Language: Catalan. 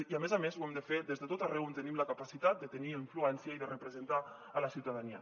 i a més a més ho hem de fer des de tot arreu on tenim la capacitat de tenir influència i de representar la ciutadania